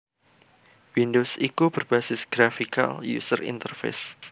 Windows iku berbasis Graphical User Interface